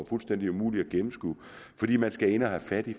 fuldstændig umuligt at gennemskue fordi man skal ind og have fat i